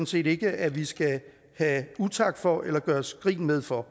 set ikke at vi skal have utak for eller gøres grin med for